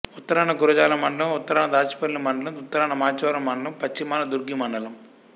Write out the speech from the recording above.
ఉత్తరాన గురజాల మండలం ఉత్తరాన దాచేపల్లి మండలం ఉత్తరాన మాచవరం మండలం పశ్చిమాన దుర్గి మండలం